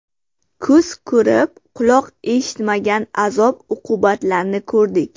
Ko‘z ko‘rib, quloq eshitmagan azob-uqubatlarni ko‘rdik.